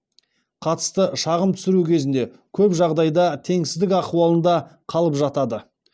қатысты шағым түсіру кезінде көп жағдайда теңсіздік ахуалында қалып жатады